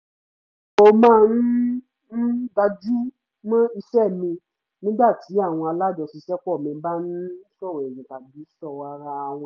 mo máa ń ń gbajúmọ̀ iṣẹ́ mi nígbà tí àwọn alájọṣiṣẹ́pọ̀ mi bá ń sọ̀rọ̀ ẹ̀yìn tàbí sọ̀rọ̀ ara wọn